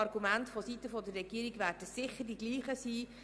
Die Argumente seitens der Regierung werden sicher dieselben sein.